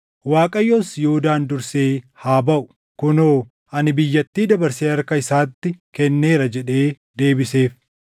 Waaqayyos, “Yihuudaan dursee haa baʼu; kunoo, ani biyyattii dabarsee harka isaatti kenneera” jedhee deebiseef.